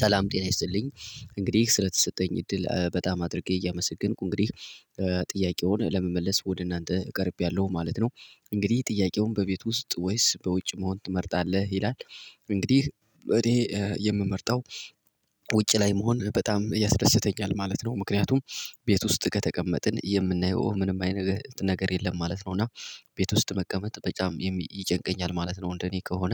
ሰላም ጤና ይስልኝ እንግዲህ ስለተሰጠኝ እድል በጣም አድርጌ እያመሰገንኩ እንግዲህ ጥያቄውን ለመመለስ ወደ እናንተ እቀርቤያለሁ ማለት ነው። እንግዲህ ጥያቄውን በቤቱ ውስጥ ወይስ በውጭ መሆን ትመርጣለህ ይላል? እንግዲህ እኔ የምመርጠው ውጪ ላይ መሆን በጣም ያስደስተኛል ማለት ነው። ምክንያቱም ቤት ውስጥ ከተቀመጥን የምናየው ምንም አይነት ነገር የለም ማለት ነው። እና ቤት ውስጥ መቀመጥ በጣም ይጨንቀኛል ማለት ነው። እንደኔ ከሆነ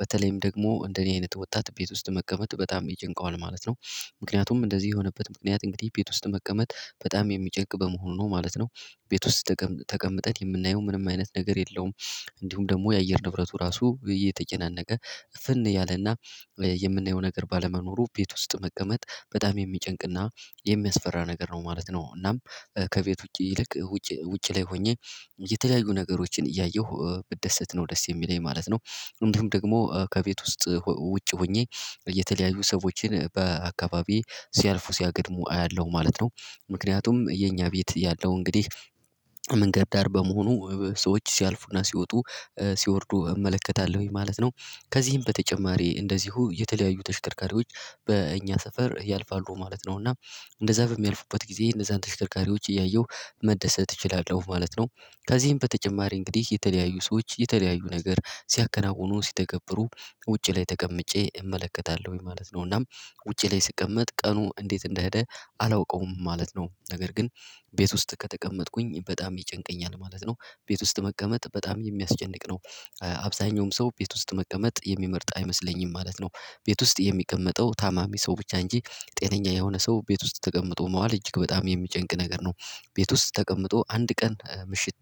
በተለይም ደግሞ እንደኔ አይነት ወጣት ቤት ውስጥ መቀመጥ በጣም ይጨንቀዋል ማለት ነው። ምክንያቱም እንደዚህ የሆነበት ምክንያት እንግዲህ ቤት ውስጥ መቀመጥ በጣም የሚጨቅ በመሆኑ ነው ማለት ነው። ቤት ውስጥ ተቀምጠን የምናየው ምንም አይነት ነገር የለውም። እንዲሁም ደግሞ የአየር ንብረቱ ራሱ የተጨናነቀ እፍን ያለና የምናየው ነገር ባለመኖሩ ቤት ውስጥ መቀመጥ በጣም የሚጨንቅና የሚያስፈራ ነገር ነው ማለት ነው። እናም ከቤት ውጪ ይልቅ ውጪ ላይ ሆኜ የተለያዩ ነገሮችን እያየሁ ብደሰት ነው ደስ የሚለኝ ማለት ነው። እንዲሁም ደግሞ ከቤት ውስጥ ውጭ ሆኜ የተለያዩ ሰዎችን በአካባቢዬ ሲያልፉ ሲያገድሙ አያለሁ ማለት ነው። ምክንያቱም የኛ ቤት ያለው እንግዲህ መንገድ ዳር በመሆኑ ሰዎች ሲያልፉና ሲወጡ ሲወርዱ እመለከታለሁኝ ማለት ነው። ከዚህም በተጨማሪ እንደዚሁ የተለያዩ ተሽከርካሪዎች በእኛ ሰፈር ያልፋሉ ማለት ነው። እና እንደዛ በሚያልፉበት ጊዜ እነዛን ተሽከርካሪዎች እያየሁ መደሰት እችላለሁ ማለት ነው። ከዚህም በተጨማሪ እንግዲህ የተለያዩ ሰዎች የተለያዩ ነገር ሲያከናውኑ ሲተገብሩ ውጪ ላይ ተቀምጬ እመለከታለሁ ማለት ነው። እናም ውጪ ላይ ስቀመጥ ቀኑ እንዴት እንደሄደ አላውቀውም ማለት ነው። ነገር ግን ቤት ውስጥ ከተቀመጥኩኝ በጣም ይጨንቀኛል ማለት ነው። ቤት ውስጥ መቀመጥ በጣም የሚያስጨንቅ ነው። አብዛኛውም ሰው ቤት ውስጥ መቀመጥ የሚመርጥ አይመስለኝም ማለት ነው። ቤት ውስጥ የሚቀመጠው ታማሚ ሰው ብቻ እንጂ ጤነኛ የሆነ ሰው ቤት ውስጥ ተቀምጦ መዋል እጅግ በጣም የሚጨንቅ ነገር ነው። ቤት ውስጥ ተቀምጦ አንድ ቀን ምሽት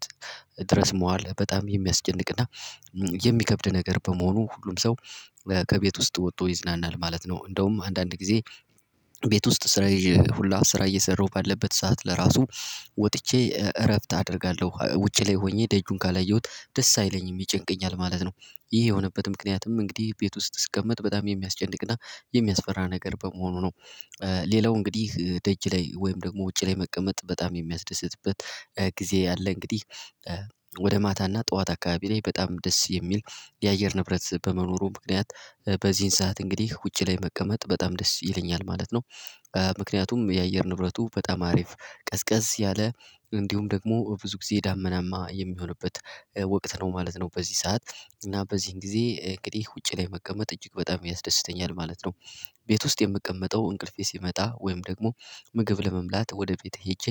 ድረስ መዋል በጣም የሚያስጨንቅና የሚከብድ ነገር በመሆኑ ሁሉም ሰው ከቤት ውስጥ ወጥቶ ይዝናናል ማለት ነው። እንደውም አንዳንድ ጊዜ ቤት ውስጥ ስራ ይዤ ሁላ ስራ እየሰራሁ ባለበት ሰዓት ለራሱ ወጥቼ እረፍት አደርጋለሁ ውጪ ላይ ሆኜ ደጁን ካላየሁት ደስ አይለኝም ይጨንቀኛል ማለት ነው። ይህ የሆነበት ምክንያትም እንግዲህ ቤት ውስጥ ስቀመጥ በጣም የሚያስጨንቅና የሚያስፈራ ነገር በመሆኑ ነው። ሌላው እንግዲህ ደጅ ላይ ወይም ደግሞ ውጭ ላይ መቀመጥ በጣም የሚያስደስትበት ጊዜ ያለ እንግዲህ ወደ ማታና ጠዋት አካባቢ ላይ በጣም ደስ የሚል የአየር ንብረት በመኖሩ ምክንያት በዚህን ሰዓት እንግዲህ ውጪ ላይ መቀመጥ በጣም ደስ ይለኛል ማለት ነው። ምክንያቱም የአየር ንብረቱ በጣም አሪፍ ቀዝቀዝ ያለ እንዲሁም ደግሞ ብዙ ጊዜ ዳመናማ የሚሆንበት ወቅት ነው ማለት ነው። በዚህ ሰዓት እና በዚህን ጊዜ እንግዲህ ውጪ ላይ መቀመጥ እጅግ በጣም ያስደስተኛል ማለት ነው። ቤት ውስጥ የምቀመጠው እንቅልፌ ሲመጣ ወይም ደግሞ ምግብ ለመብላት ወደ ቤት ሄጄ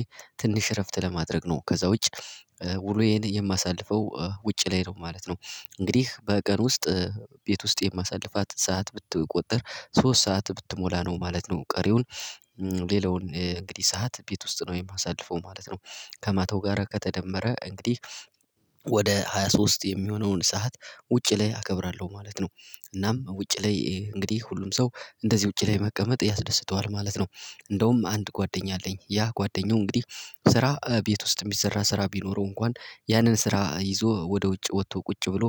ትንሽ እረፍት ለማድረግ ነው ከዛ ውጭ ውሎዬን የማሳልፈው ውጭ ላይ ነው ማለት ነው። እንግዲህ በቀን ውስጥ ቤት ውስጥ የማሳልፋት ሰዓት ብትቆጠር ሶስት ሰዓት ብትሞላ ነው ማለት ነው። ቀሪውን ሌላውን እንግዲህ ሰዓት ቤት ውስጥ ነው የማሳልፈው ማለት ነው። ከማታው ጋር ከተደመረ እንግዲህ ወደ ሃያ ሶስት የሚሆነውን ሰዓት ውጪ ላይ አከብራለሁ ማለት ነው። እናም ውጪ ላይ እንግዲህ ሁሉም ሰው እንደዚህ ውጪ ላይ መቀመጥ ያስደስተዋል ማለት ነው። እንደውም አንድ ጓደኛ አለኝ ያ ጓደኛው እንግዲህ ስራ ቤት ውስጥ የሚሰራ ስራ ቢኖረው እንኳን ያንን ስራ ይዞ ወደ ውጭ ወጥቶ ቁጭ ብሎ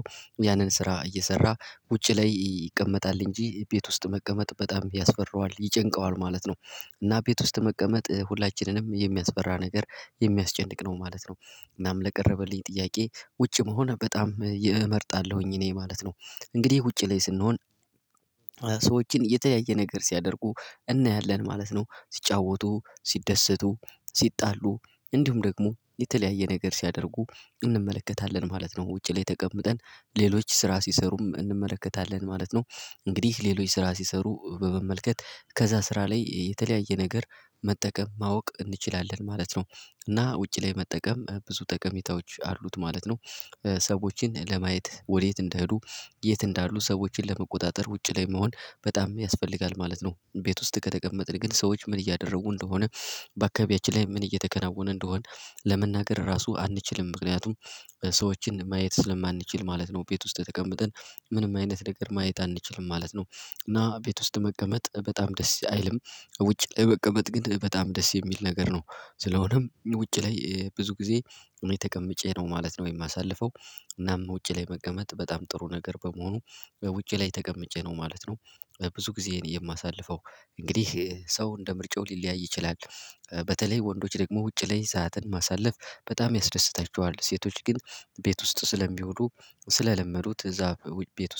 ያንን ስራ እየሰራ ውጪ ላይ ይቀመጣል እንጂ ቤት ውስጥ መቀመጥ በጣም ያስፈራዋል ይጨንቀዋል ማለት ነው። እና ቤት ውስጥ መቀመጥ ሁላችንንም የሚያስፈራ ነገር የሚያስጨንቅ ነው ማለት ነው። እናም ለቀረበልኝ ጥያቄ ውጭ መሆን በጣም እመርጣለሁኝ እኔ ማለት ነው። እንግዲህ ውጪ ላይ ስንሆን ሰዎችን የተለያየ ነገር ሲያደርጉ እናያለን ማለት ነው። ሲጫወቱ ሲደሰቱ ሲጣሉ እንዲሁም ደግሞ የተለያየ ነገር ሲያደርጉ እንመለከታለን ማለት ነው። ውጪ ላይ ተቀምጠን ሌሎች ስራ ሲሰሩም እንመለከታለን ማለት ነው። እንግዲህ ሌሎች ስራ ሲሰሩ በመመልከት ከዛ ስራ ላይ የተለያየ ነገር መጠቀም ማወቅ እንችላለን ማለት ነው። እና ውጪ ላይ መጠቀም ብዙ ጠቀሜታዎች አሉት ማለት ነው። ሰዎችን ለማየት ወዴት እንደሄዱ የት እንዳሉ ሰዎችን ለመቆጣጠር ውጪ ላይ መሆን በጣም ያስፈልጋል ማለት ነው። ቤት ውስጥ ከተቀመጥን ግን ሰዎች ምን እያደረጉ እንደሆነ በአካባቢያችን ላይ ምን እየተከናወነ እንደሆነ። ለመናገር ራሱ አንችልም ምክንያቱም ሰዎችን ማየት ስለማንችል ማለት ነው። ቤት ውስጥ ተቀምጠን ምንም አይነት ነገር ማየት አንችልም ማለት ነው። እና ቤት ውስጥ መቀመጥ በጣም ደስ አይልም። ውጭ ላይ መቀመጥ ግን በጣም ደስ የሚል ነገር ነው። ስለሆነም ውጪ ላይ ብዙ ጊዜ እኔ ተቀምጬ ነው ማለት ነው የማሳልፈው። እናም ውጪ ላይ መቀመጥ በጣም ጥሩ ነገር በመሆኑ በውጪ ላይ ተቀምጬ ነው ማለት ነው። ብዙ ጊዜ የማሳልፈው እንግዲህ ሰው እንደ ምርጫው ሊለያይ ይችላል። በተለይ ወንዶች ደግሞ ውጭ ላይ ሰዓትን ማሳለፍ በጣም ያስደስታቸዋል። ሴቶች ግን ቤት ውስጥ ስለሚውሉ ስለለመዱት እዛ ቤት ውስጥ